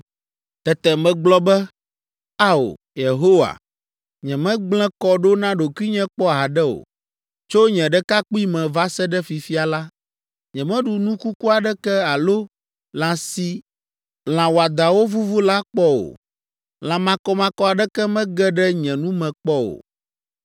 Tete megblɔ be, “Ao, Yehowa, nyemegblẽ kɔ ɖo na ɖokuinye kpɔ haɖe o. Tso nye ɖekakpuime va se ɖe fifia la, nyemeɖu nu kuku aɖeke alo lã si lã wɔadãwo vuvu la kpɔ o. Lã makɔmakɔ aɖeke mege ɖe nye nu me kpɔ o.”